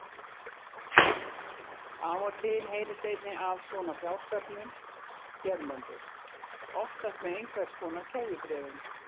Af og til heyrist einnig af svona fjársöfnun hérlendis, oftast með einhvers konar keðjubréfum.